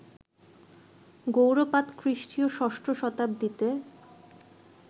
গৌড়পাদ খ্রিস্টীয় ষষ্ঠ শতাব্দীতে